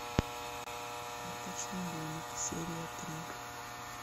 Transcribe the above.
карточный домик серия три